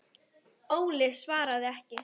Óli svaraði ekki.